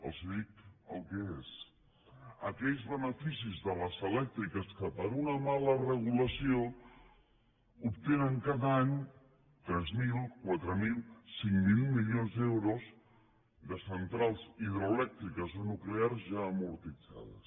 els dic el que és aquells beneficis de les elèctriques que per una mala regulació obtenen cada any tres mil quatre mil cinc mil milions d’euros de centrals hidroelèctriques o nuclears ja amortitzades